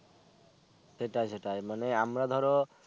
সেটাই সেটাই মানে আমরা ধরো